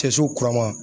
Cɛsiw kura ma